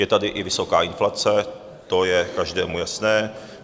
Je tady i vysoká inflace, to je každému jasné.